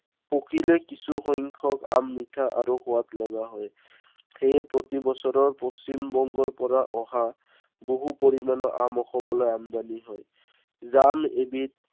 পকিলে কিছুসংখ্য়ক আম মিঠা আৰু সোৱাদ লগা হয়। সেয়ে প্ৰতি বছৰৰ পশ্চিমবংগৰ পৰা অহা, বহু পৰিমানৰ আম অসমলৈ আমদানী হয়। জাম এবিধ